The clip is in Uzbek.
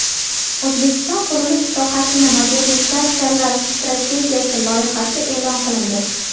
O‘zbekiston qurilish sohasini modernizatsiyalash strategiyasi loyihasi e’lon qilindi.